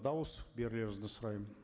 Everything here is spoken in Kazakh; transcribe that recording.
дауыс берулеріңізді сұраймын